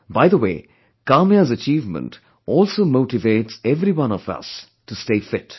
By the way, Kamya's achievement also motivates everyone of us to stay fit